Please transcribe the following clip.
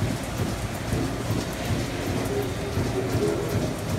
E giko, tudruok maler en gima dwarore